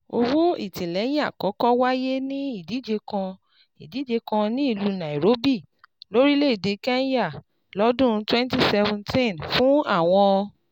Owó ìtìlẹyìn àkọ́kọ́ wáyé ní ìdíje kan ìdíje kan ní ìlú Nairobi, lórílẹ̀-èdè Kenya, lọ́dún twenty seventeen fún àwọn